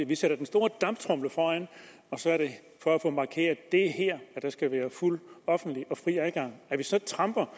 vi sætter den store damptromle foran for at få markeret at der skal være fuld offentlig og fri adgang at vi så tramper